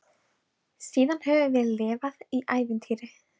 Síðan höfum við lifað í ævintýri.